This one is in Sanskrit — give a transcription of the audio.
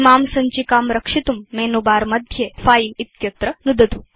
इमां सञ्चिकां रक्षितुं मेनुबारमध्ये फिले इत्यत्र नुदतु